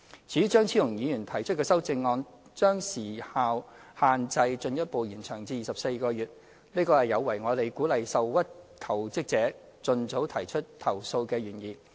至於張超雄議員提出的修正案，將時效限制進一步延長至24個月，這有違我們鼓勵受屈求職者盡早提出投訴的原意。